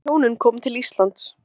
Þegar þau hjónin koma til Íslands